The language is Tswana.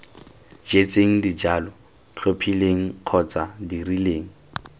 jetseng dijalo tlhophileng kgotsa dirileng